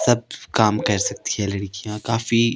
सब काम कर सकती हैं लड़कियां काफी--